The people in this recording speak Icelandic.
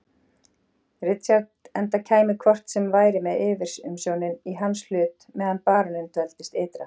Richard enda kæmi hvort sem væri yfirumsjónin í hans hlut meðan baróninn dveldist ytra.